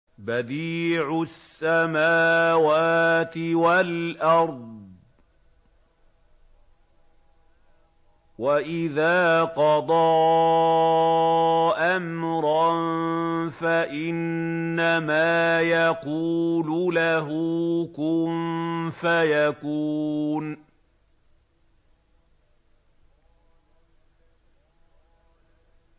بَدِيعُ السَّمَاوَاتِ وَالْأَرْضِ ۖ وَإِذَا قَضَىٰ أَمْرًا فَإِنَّمَا يَقُولُ لَهُ كُن فَيَكُونُ